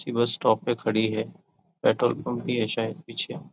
इसी bus stop पर खड़ी हैं पेट्रोल पंप भी हैं शायद पीछे--